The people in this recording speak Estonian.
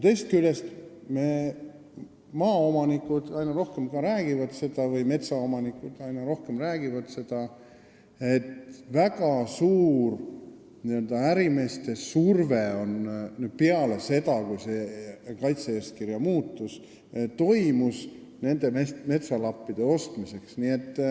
Teisest küljest, metsaomanikud räägivad aina rohkem, et pärast seda, kui see kaitse-eeskirja muutmine toimus, on tekkinud väga suur ärimeeste surve nende metsalappide ostmiseks.